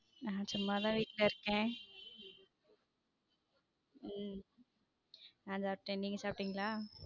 நான் சும்மா தான் வீட்ல இருக்கேன் உம் நான் சாப்டேன் நீங்க சாப்டிங்கள?